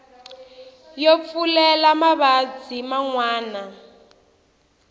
yo pfulela mavabyi man wana